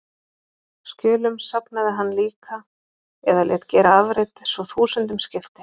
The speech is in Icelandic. Skjölum safnaði hann líka eða lét gera afrit, svo þúsundum skipti.